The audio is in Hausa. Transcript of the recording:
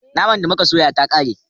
Naman da muka soya ta kare